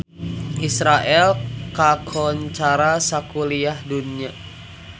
Israel kakoncara sakuliah dunya